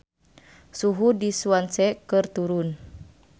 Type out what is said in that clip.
Suhu di Swansea keur turun